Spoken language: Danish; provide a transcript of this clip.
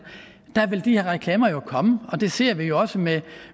der vil de her reklamer jo komme og det ser vi jo også med